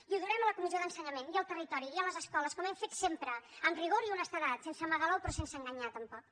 i ho durem a la comissió d’ensenyament i al territori i a les escoles com hem fet sempre amb rigor i honestedat sense amagar l’ou però sense enganyar tampoc